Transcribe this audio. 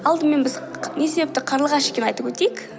алдымен біз не себепті қарлығаш екенін айтып өтейік